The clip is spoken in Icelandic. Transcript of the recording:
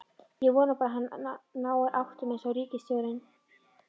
Ég vona bara að hann nái áttum einsog ríkisstjórnin.